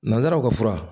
Nanzaraw ka fura